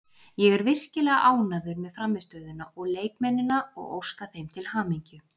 Ég er virkilega ánægður með frammistöðuna og leikmennina og óska þeim til hamingju.